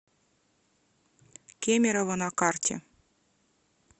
кемерово на карте